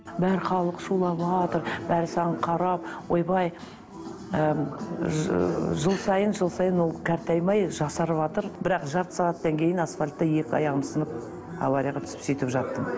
бар халық шулаватыр бәрі саған қарап ойбай ы жыл сайын жыл сайын ол қартаймай жасарыватыр бірақ жарты сағаттан кейін асфальтта екі аяғым сынып аварияға түсіп сөйтіп жаттым